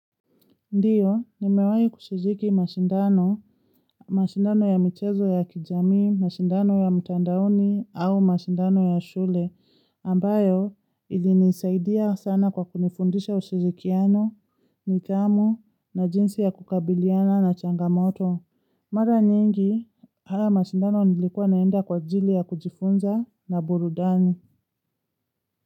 Ndiyo, nimewahi kushiriki mashindano, mashindano ya mchezo ya kijamii, mashindano ya mtandaoni au mashindano ya shule, ambayo ili nisaidia sana kwa kunifundisha ushirikiano, nidhamu na jinsi ya kukabiliana na changamoto. Mara nyingi, haya mashindano nilikuwa naenda kwa ajili ya kujifunza na burudani.